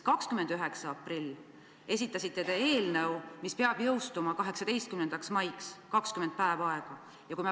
29. aprillil esitasite te eelnõu, mis peab jõustuma 18. maiks, 20 päeva on aega.